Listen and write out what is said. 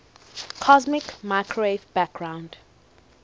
cosmic microwave background